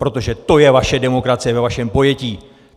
Protože to je vaše demokracie ve vašem pojetí!